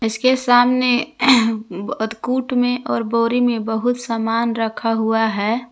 इसके सामने ब कूट में और बोरी में बहुत सामान रखा हुआ है।